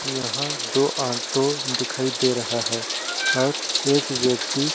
यहाँ दो ऑटो दिखाई दे रहा है। और एक व्यक्ति--